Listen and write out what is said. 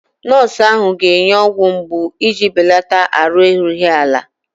Nọọsụ ahụ ga-enye ọgwụ mgbu iji belata ahụ erughị ala.